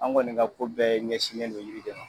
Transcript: An kɔni ka ko bɛɛ ɲɛsinnen don yiri de ma.